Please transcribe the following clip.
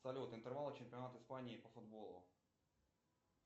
салют интервалы чемпионата испании по футболу